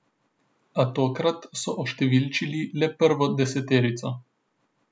A tokrat so oštevilčili le prvo deseterico.